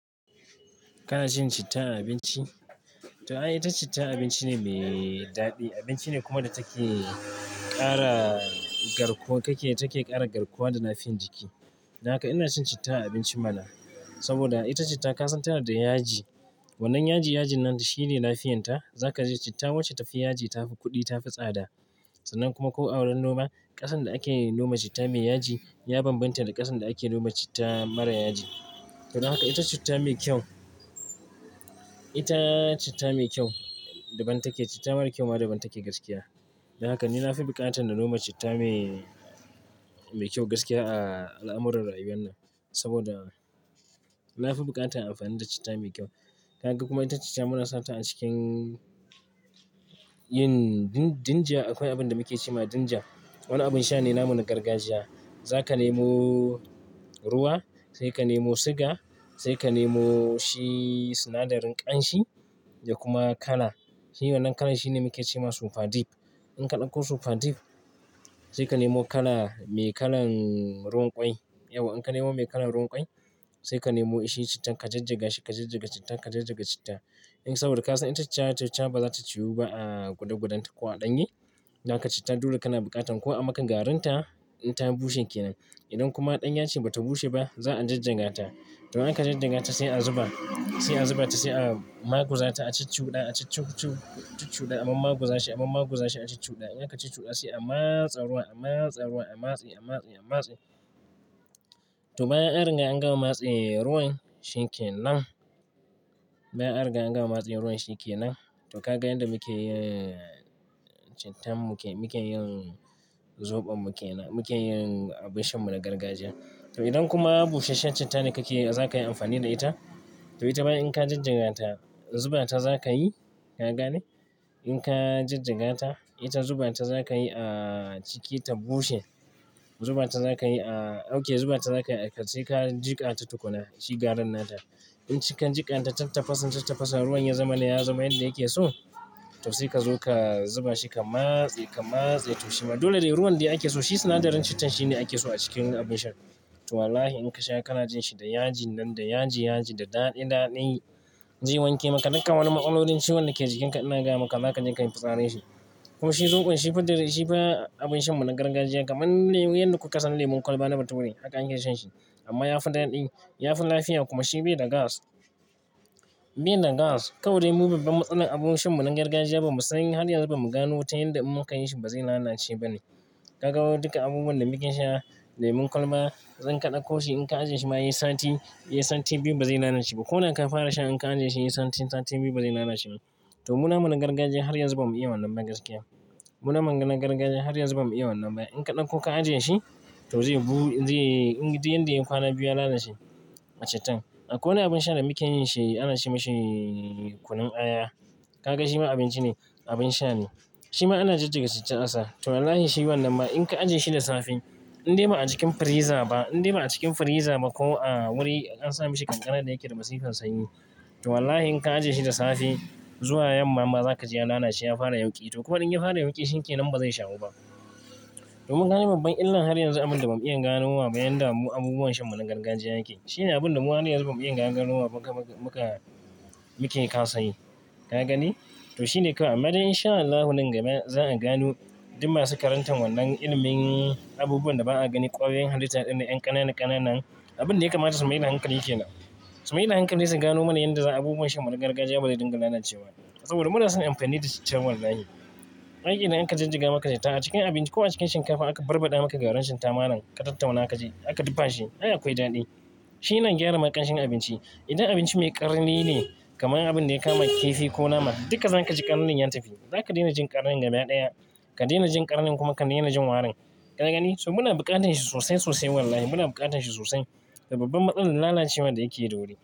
Kana cin citta a abinci? To ai, ita citta abinci ne mai daɗi, abinci ne kuma da take ƙara garkuwa, take ƙara garkuwa da lafiyan jiki. Daka ina cin citta a abinci mana, saboda ita citta ka san tana da yaji. Wannan yaji, yaji nan shi ne lafiyarta. Za ka ji citta wacce tafi yaji, tafi kuɗi, tafi tsada. Sannan kuma ko a wurin noma ƙasan da ake noma citta mai yaji ya bambanta da ƙasan da ake noma citta mara yaji. To, don haka ita citta mai kyau, ita citta mai kyau daban take. Citta mara kyau ma daban take gaskiya. Don haka ni na fi buƙatan na noma citta mai, mai kyau gaskiya a al'amuran rayuwarna. Saboda na fi buƙatan in amfani da citta mai kyau. Ka ga kuma ita citta muna sata a cikin yin dinja. Akwai abin da muke cewa dinja. Wani abin sha ne, namu na gargajiya. Za ka nemo ruwa, sai ka nemo siga, sai ka nemo shi sinadarin ƙanshi da kuma kala. Shi wannan kalan shi ne muke cewa super dip. In ka ɗauko super dip sai ka nemo kala mai kalan ruwan ƙwai, yauwa in ka nemo mai kalan ruwan ƙwai sai ka nemo shi cittan ka jijjiga shi, ka jijjiga cittan, ka jijjiga citta. In saboda ka san ita citta citta ba za ta ciwu ba a gudagudanta ko a ɗanye. Don haka cittan dole kana buƙatan kawo amaka garinta in ta bushe kenan. Idan kuma ɗan yace bata bushe ba za a jijjiga ta. To in aka jijjiga ta sai a zuba, sai a zuba ta, sai a maguza ta a cuɗa, a cuɗa, a cuɗa amma maguza shi, amma maguza shi a cuɗa. In aka cuɗa sai a matsaruwan, a matsaruwan, a matse, a matse, a matse. To bayan an riga an gama matse ruwan shinken nan, bayan an riga an gama matse ruwan shinken nan, to ka ga yanda muke yin cittan, muke, muke yin zobon, muke, muke yin abin shanmu na gargajiya. To idan kuma busasshen citta ne kake yi za ka yi amfani da ita. To ita bayan in ka jijjiga ta, zuba ta za ka yi, ka gane? In ka jijjiga ta, ita zuba ta za ka yi a ciki ta bushe. Zuba ta za ka yi a, dauke zuba ta za ka kai jika ta tukuna, shi garin nata. In cikin jikan ta tafasa, tafasa ruwan ya zama na, ya zama yanda yake so, to sai ka zo ka zuba shi ka matse, ka matse. To shima dole dai ruwan da ake so shi sinadarin cittan shine ake so a cikin yin abin sha. To wallahi in ka sha kana jin shi da yaji nan, da yaji yaji, da daɗi daɗi zai wanke maka duka wani matsalolin ciwon da ke jikinka ina gaya maka, za ka ji ka yi fitsari shi. Ko shi zoɓon shi fa drinks, shi ba abin shanmu na gargajiya kamar yanda kuka san lemun kwalba na bature haka ake shan shi. Amma ya fi daɗi, ya fi lafiya kuma shi bai da gas. Bai da gas. Kawai dai mu babban matsalar abun shanmu na gargajiya bamu sani har yanzu ba muga nutan yanda in muka yi shi ba zai lalace ba ne. Ka ga duka abubuwan da muke sha, lemun kwalba zan kaɗa ko shi in ka ajiye shi ba yi sati, yi sati biyu ba zai lalace ba. Ko da ka fara sha in ka ajiye shi yi sati, sati biyu ba zai lalace ba. To mu na nunin gargajiya har yanzu bam yi wannan ba gaskiya. Muna maganan gargajiya har yanzu bamu iya wannan ba. In ka ɗauko ka ajiye shi, to zai, zai, yanda yana kwana biyu ya lalace cittan. Akwai wani abin sha da muke yin shi ana ce masa kunun aya. Ka ga shi ma abinci ne, abin sha ne. Shi ma ana jijjiga citta asa. To wallahi shi wannan ma in ka ajiye shi da safe in dai ba a cikin firiza ba, in dai ba a cikin firiza ba ko a wuri an sa mishi ƙanƙara da yake da masifan sanyi, to wallahi in ka ajiye shi da safe zuwa yamma ma za ka ji ya lalace, ya fara yauƙi. To kuma in ya fara yauƙi shinken nan ba zai shawo ba. To mun gano babban illa har yanzu abin da bam iya gano wa ba yanda abubuwan shanmu na gargajiya yake. Shi ne abin da mu har yanzu bam iya gano wa muka, muka, muke kasan yi. Ka gani? To shi ne kawai amma dai in sha Allahu nan gaba za a gano duk masu karantar wannan ilimin abubuwan da ba a gani ƙwayoyin halitta ɗin da yan ƙanana ƙanana nan, abin dai kama da su mai da hankali kenan. Su mai da hankali su gano mana yanda za a abubuwan shanmu na gargajiya bazai dinga lalacewa. Saboda mu na son in amfani da citta wallahi. Ai idan aka jijjiga maka citta a cikin abinci ko a cikin shinkafa aka barbaɗa maka garin citta malam, ka tattauna ka je aka dafa shi ai akwai daɗi. Shi yana gyara ma ƙanshin abinci. Idan abinci mai ƙarni ne kamar abin da ya kama kifi ko nama, duka za ka ji ƙarnin ya tafi. Za ka daina jin ƙarnin gaba ɗaya, ka daina jin ƙarnin kuma ka daina jin warin. Ka gani? To muna buƙatan shi sosai sosai wallahi, muna buƙatan shi sosai. Da babban matsalar lalacewa da yake da wuri.